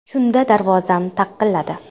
Shunda darvozam taqilladi.